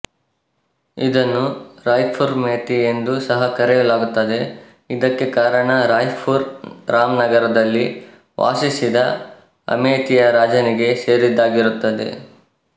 ಇದನ್ನು ರಾಯ್ಪುರ್ಅಮೇಥಿ ಎಂದು ಸಹ ಕರೆಯಲಾಗುತ್ತದೆ ಇದಕ್ಕೆ ಕಾರಣ ರಾಯ್ಪುರ್ ರಾಮನಗರದಲ್ಲಿ ವಾಸಿಸಿದ ಅಮೇಥಿಯ ರಾಜನಿಗೆ ಸೇರಿದ್ದಾಗಿರುತ್ತದೆ